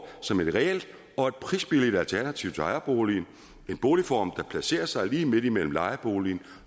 som et reelt og prisbilligt alternativ til ejerboliger en boligform der placerer sig lige midt imellem lejeboligen